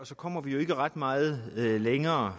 så kommer vi jo ikke ret meget længere